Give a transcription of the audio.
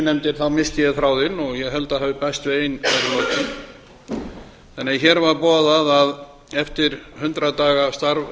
nefndir missti ég þráðinn en ég held að ein hafi bæst við í lokin þannig að hér var boðað að eftir hundrað daga starf